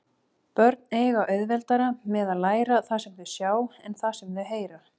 Börn eiga auðveldara með að læra það sem þau sjá en það sem þau heyra.